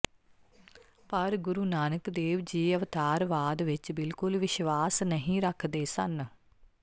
ਪਰ ਗੂਰੂ ਨਾਨਕ ਦੇਵ ਜੀ ਅਵਤਾਰਵਾਦ ਵਿਚ ਬਿਲਕੁਲ ਵਿਸ਼ਵਾਸ ਨਹੀਂ ਰੱਖਦੇ ਸਨ